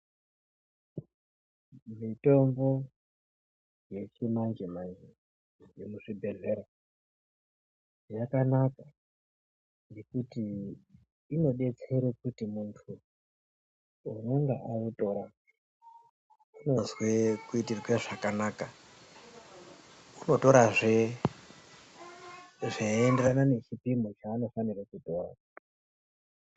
Mitombo yechimanje-manje iri muzvibhedhlera yakanaka ngekuti inobetsere kuti muntu anonga autora unozwe kuitirwe zvakanaka. Unotorazve zveienderana nechipimo chaanofanira kutora.